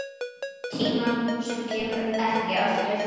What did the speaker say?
Tíma sem kemur ekki aftur.